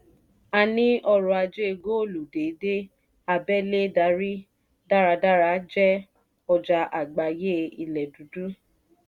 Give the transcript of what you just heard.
a ní ọrọ̀ ajé góòlù déédé abẹ́lé darí dáradára jẹ́ ọjà àgbáyé ilẹ̀ dúdú.